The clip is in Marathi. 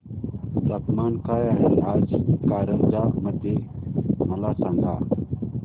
तापमान काय आहे आज कारंजा मध्ये मला सांगा